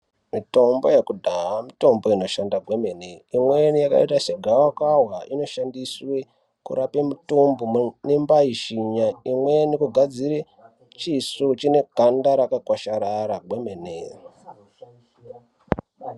Mitombo yekudhaa mitombo inoshanda kwemene imweni yakaita segavakava inoshandiswe kurape mutumbu inombaishinya. Imweni kugadzire chiso chineganda rakakwasharara kwemene.